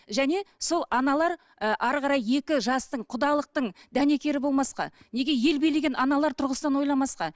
және сол аналар ы әрі қарай екі жастың құдалықтың дәнекері болмасқа неге ел билеген аналар тұрғысынан ойламасқа